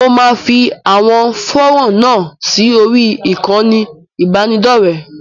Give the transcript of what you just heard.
Mo máa fi à̀wọn fọ́rán náà sí orí ìkànnì ìbánidọ́rẹ̀ẹ́.